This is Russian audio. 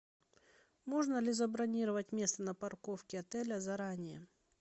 можно ли забронировать место на парковке отеля заранее